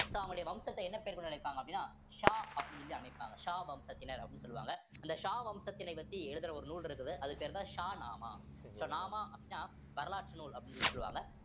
so அவங்களுடைய வம்சத்தை என்ன பேரு கொண்டு அழைப்பாங்க அப்படின்னா ஷா அப்படின்னு சொல்லி அழைப்பாங்க ஷா வம்சத்தினர் அப்படின்னு சொல்லுவாங்க அந்த ஷா வம்சத்தினை வச்சு எழுதுற ஒரு நூல் இருக்குது அதுக்கு பேர்தான் ஷா நாமா so நாமா அப்படீன்னா வரலாற்று நூல் அப்படீன்னு சொல்லி சொல்லுவாங்க